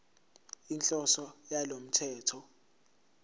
inhloso yalo mthetho